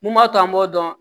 Mun b'a to an b'o dɔn